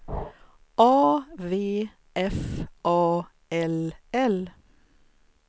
A V F A L L